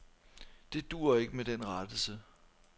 Det duer ikke med den rettelse.